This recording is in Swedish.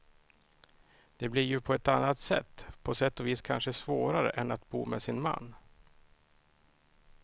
Det blir ju på ett annat sätt, på sätt och vis kanske svårare än att bo med sin man.